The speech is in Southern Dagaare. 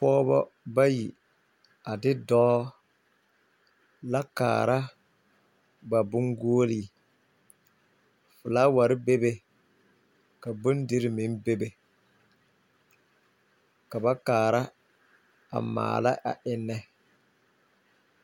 Pɔgebɔ bayi, a de dɔɔ, la kaara ba boŋguoli. Felaaware be be, ka bondiri meŋ be be, ka ba kaara a maala a ennnɛ.